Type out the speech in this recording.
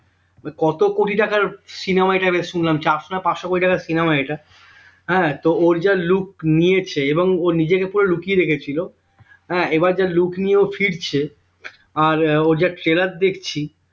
কত কোটি টাকার cinema এটা বেশ শুনলাম চারশো না পাঁচশো কোটি টাকার cinema এটা আহ তো ওর যা look নিয়েছে এবং ও নিজেকে পুরো লুকিয়ে রেখেছিল হ্যাঁ এবার যা look নিয়ে ও ফিরছে আর আহ ওর যা trailer দেখছি,